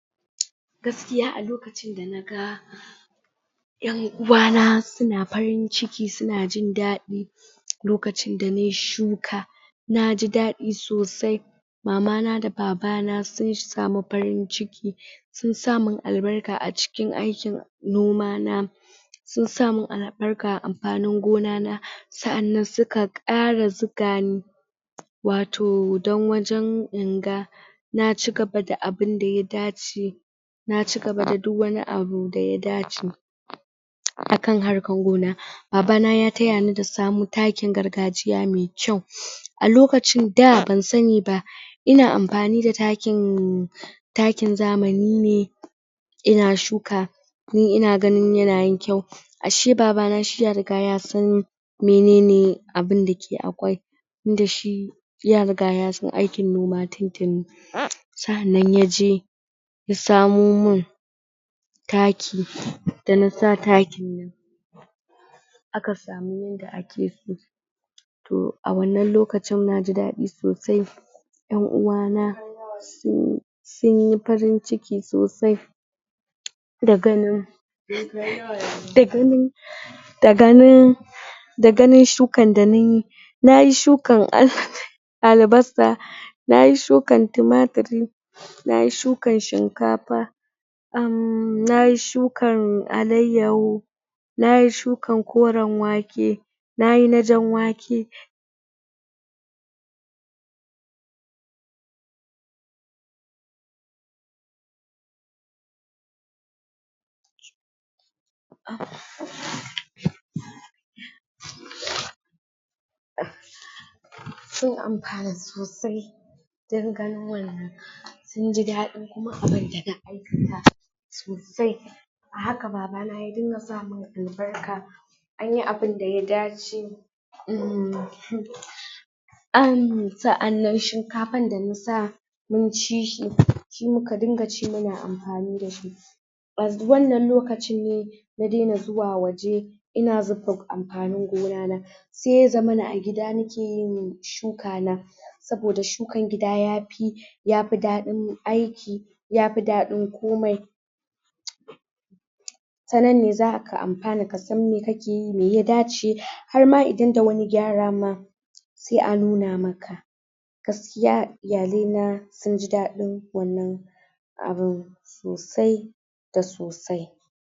gaskiya a lokacin da na ga en uwa na suna farin ciki suna jindadi lokacin da nayi shuka naji daɗi sosai mamana da babana sun samu farin ciki sun sa mun albarka a cikin aikin noma na sun sa mun albarka a amfanin gona na sa'anan suka kara zuga ni wato dan wajen inga na cigaba da abun da ya dace na cigaba da duk wani abu da ya dace akan harkan gona babana ya tayani da samun taki na gargajiya mai kyau a lokacin da ban sani ba ina amfani da takin takin zamani ne ina shuka ni ina ganin yana yin kyau ashe babana shi ya riga ya san menene abun da akai dashi ya riga ya san aikin noma tintini sa; anan yaje ya samo mun taki dana sa takin nan aka samu yanda akeso so a wannan lokacin naji dadi sosai en uwa na sun sunyi farin ciki sosai da ganin da ganin da ganin da ganin sukan da nayi nayi shukan [hahaha] albasa nayi shukan tumatiri nayi shukan shinkafa um nayi shukan alaiyaho nayi shukan koren wake nayi na jan wake sun amfana sosai dan ganin wannan sunji dadin kuma abun da na aikata sosai a haka babana ya dinga samun albarka anyi abun da ya dace um um sa'annan shinkafan da na sa munci shi shi muka dinga ci muna amfani dashi wannan lokacin ne na daina zuwa waje ina amfanin gona na sai ya zammana a gida nakeyin shuka na saboda shukan gida yafi yafi dadin aiki yafi dadin komai tanan ne zaka amfana ka san me kakeyi meh ya dace har ma idan da wani gyara ma sai a nuna maka gaskiya iyale na sunji dadin wannan abun sosai da sosai,